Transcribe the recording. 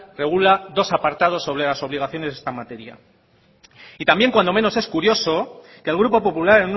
regula dos apartados sobra las obligaciones de esta materia y también cuando menos es curioso que el grupo popular